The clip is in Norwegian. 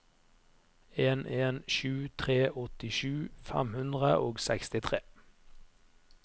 en en sju tre åttisju fem hundre og sekstitre